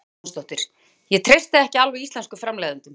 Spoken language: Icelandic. Sigrún Huld Jónsdóttir: Ég treysti alveg íslenskum framleiðendum?